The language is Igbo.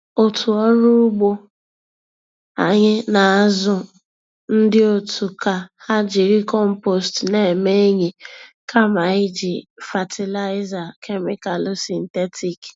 Otu ọrụ ugbo anyị na-azụ ndị otu ka ha jiri compost na-eme enyi kama iji fatịlaịza kemịkalụ sịntetik.